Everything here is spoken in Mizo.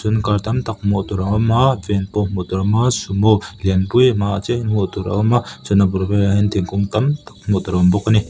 car tam tak hmuh tur a awm a van pawh hmuh tur a awm a sumo lianpui a hmaah chiah hian hmuh tur a awm a chuan a bul velah hian thingkung tam tak hmuh tur a awm bawk ani.